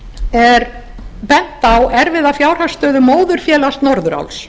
er bent á erfiða fjárhagsstöðu móðurfélags norðuráls